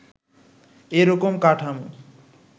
এ রকম কাঠামো